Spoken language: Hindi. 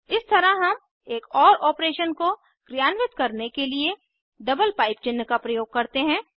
इस तरह हम एक ओर ऑपरेशन को क्रियान्वित करने के लिए डबल पाइप चिन्ह का प्रयोग करते हैं